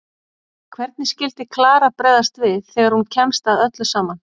Hvernig skyldi Klara bregðast við þegar hún kemst að öllu saman?